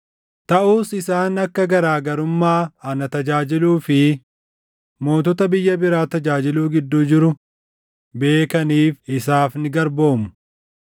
Taʼus isaan akka garaa garummaa ana tajaajiluu fi mootota biyya biraa tajaajiluu gidduu jiru beekaniif isaaf ni garboomu.”